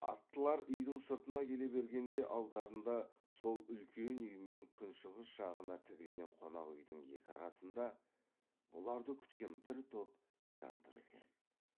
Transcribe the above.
аттылар үйдің сыртына келе бергенде алдарында сол үлкен үй мен күншығыс жағына тігілген қонақ үйдің екі арасында бұларды күткен бір топ жан тұр екен